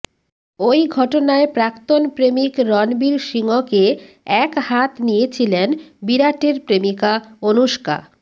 ওই ঘটনায় প্রাক্তন প্রেমিক রণবীর সিংয়কে একহাত নিয়েছিলেন বিরাটের প্রেমিকা অনুষ্কা